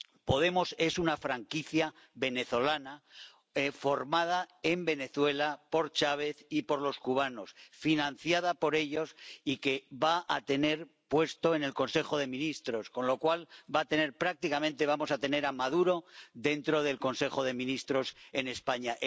Podemos es una franquicia venezolana formada en Venezuela por Chávez y por los cubanos, financiada por ellos y que va a tener puesto en el Consejo de Ministros, con lo cual prácticamente vamos a tener a Maduro dentro del Consejo de Ministros en España.